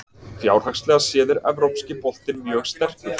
Fjárhagslega séð er Evrópski boltinn mjög sterkur.